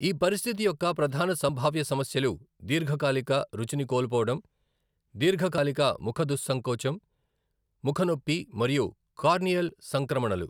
ఈ పరిస్థితి యొక్క ప్రధాన సంభావ్య సమస్యలు దీర్ఘకాలిక రుచిని కోల్పోవడం, దీర్ఘకాలిక ముఖ దుస్సంకోచం, ముఖ నొప్పి మరియు కార్నియల్ సంక్రమణలు .